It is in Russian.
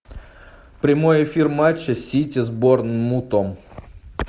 прямой эфир матча сити с борнмутом